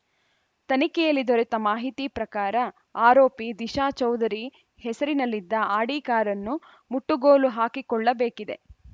ತನಿಖೆಯಲ್ಲಿ ದೊರೆತ ಮಾಹಿತಿ ಪ್ರಕಾರ ಆರೋಪಿ ದಿಶಾ ಚೌಧರಿ ಹೆಸರಿನಲ್ಲಿದ್ದ ಆಡಿ ಕಾರನ್ನು ಮುಟ್ಟುಗೋಲು ಹಾಕಿಕೊಳ್ಳಬೇಕಿದೆ